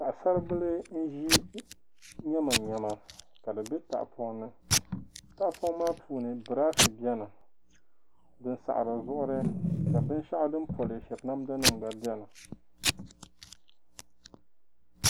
Paɣisaribila n-ʒi nyamanyama ka di be tahapɔŋ ni. Tahapɔŋ maa puuni biraashi beni din sahiri zuɣiri ka binshɛɣu din polishiri namdanima gba beni.